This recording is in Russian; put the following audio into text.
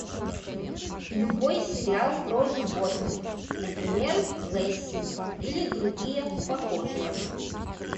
любой сериал про животных например лесси или другие похожие